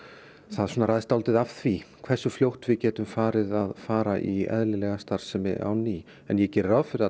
það ræðst dálítið af því hversu fljótt við getum farið að fara í eðlilega starfsemi á ný en ég geri ráð fyrir